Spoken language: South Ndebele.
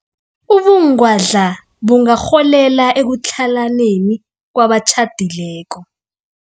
Ubungwadla bungarholela ekutlhalaneni kwabatjhadileko.